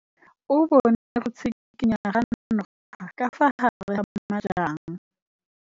O bone go tshikinya ga noga ka fa gare ga majang.